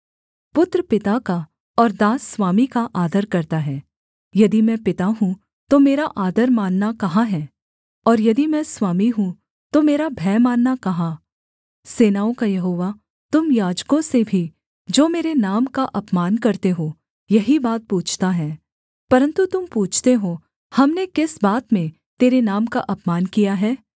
पुत्र पिता का और दास स्वामी का आदर करता है यदि मैं पिता हूँ तो मेरा आदर मानना कहाँ है और यदि मैं स्वामी हूँ तो मेरा भय मानना कहाँ सेनाओं का यहोवा तुम याजकों से भी जो मेरे नाम का अपमान करते हो यही बात पूछता है परन्तु तुम पूछते हो हमने किस बात में तेरे नाम का अपमान किया है